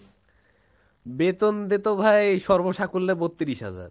বেতন দিতো ভাই সর্বসাকুল্যে বত্রিশ হাজার